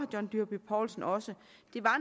john dyrby paulsen også